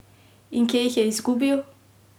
In kje jih je izgubil?